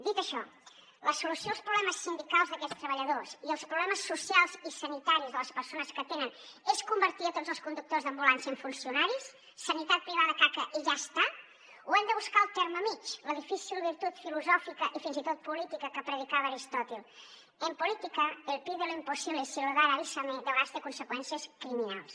dit això la solució als problemes sindicals d’aquests treballadors i els problemes socials i sanitaris de les persones que atenen és convertir a tots els conductors d’ambulància en funcionaris sanitat privada caca i ja està o hem de buscar el terme mitjà la difícil virtut filosòfica i fins i tot política que predicava aristòtil en política el pide lo imposible y si lo dan avísame de vegades té conseqüències criminals